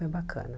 Foi bacana.